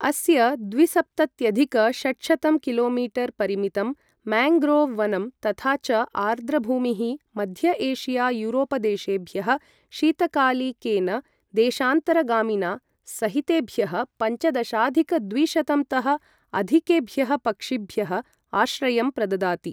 अस्य द्विसप्तत्यधिक षट्शतं किलो मीटर् परिमितं मेन्ग्रोव् वनं तथा च आर्द्रभूमिः मध्य एशिया युरोपदेशेभ्यः शीतकालिकेन देशान्तरगामिना सहितेभ्यः पञ्चदशाधिक द्विशतं तः अधिकेभ्यः पक्षिभ्यः आश्रयं प्रददाति।